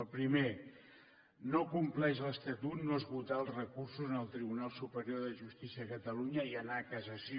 el primer no compleix l’estatut no esgotar els recursos en el tribunal superior de justícia de catalunya i anar a cassació